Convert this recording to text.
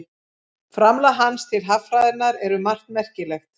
Framlag hans til haffræðinnar er um margt merkilegt.